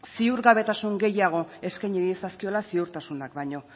ziurgabetasun gehiago eskaini diezazkiola ziurtasunak baino